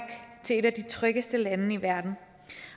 til et af de tryggeste lande i verden